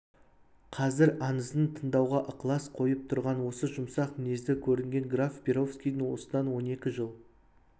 қазір аңызын тыңдауға ықылас қойып тұрған осы жұмсақ мінезді көрінген граф перовскийдің осыдан он екі жыл